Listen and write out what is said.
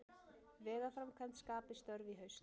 Vegaframkvæmd skapi störf í haust